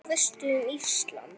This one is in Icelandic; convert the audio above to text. Hvað veistu um Ísland?